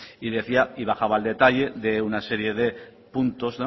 y decía y bajaba al detalle de una serie de puntos